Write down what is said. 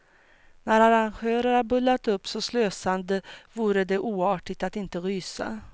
När arrangörerna bullat upp så slösande vore det oartigt att inte rysa.